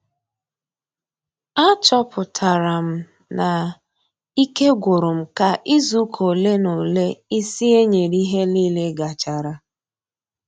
A chọpụtara m na ike gwụrụ m ka izu ụka ole na ole ịsị ee nyere ihe nile gachara